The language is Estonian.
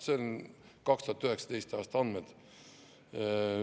Need on 2019. aasta andmed.